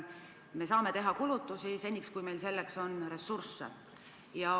Me saame teha kulutusi seni, kui meil on selleks ressursse.